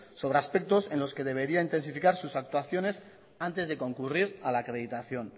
sobre aspectos en los que debería intensificar sus actuaciones antes de concurrir a la acreditación